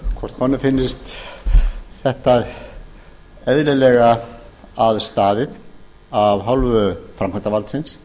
hvort honum finnist þetta eðlilega að staðið af hálfu framkvæmdarvaldsins